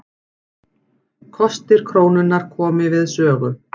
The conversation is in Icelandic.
Kostir krónunnar komi við sögu